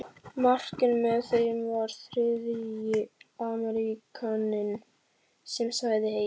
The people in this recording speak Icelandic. Mark en með þeim var þriðji Ameríkaninn sem sagðist heita